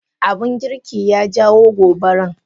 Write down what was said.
Abun girki ya jawo gobaran.